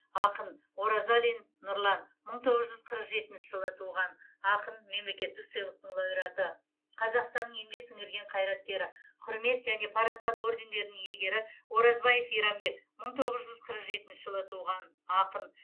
ақын оразалин нұрлан мың тоғыз жүз қырық жетінші жылы туған ақын мемлекеттік сыйлықтың лауреаты қазақстанның еңбек сіңірген қайраткері құрмет және парасат ордендерінің иегері оразбаев иранбек мың тоғыз жүз қырық жетінші жылы туған ақын